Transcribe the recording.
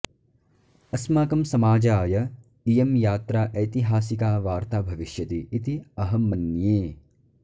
अस्माकं समाजाय इयं यात्रा ऐतिहासिका वार्ता भविष्यति इति अहं मन्ये